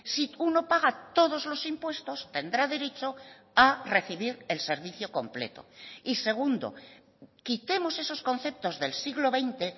si uno paga todos los impuestos tendrá derecho a recibir el servicio completo y segundo quitemos esos conceptos del siglo veinte